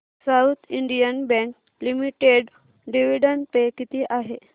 south Indian Bank Limited dividend pay किती आहे